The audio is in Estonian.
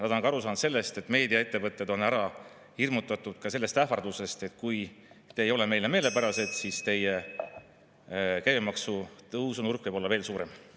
Nad on ka aru saanud sellest, et meediaettevõted on ära hirmutatud sellest ähvardusest, et kui te ei ole meile meelepärased, siis teie käibemaksu tõusunurk võib olla veel suurem.